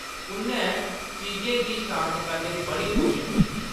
उʼन्नै चीजें गी शांत करने दी बड़ी कोशश कीती।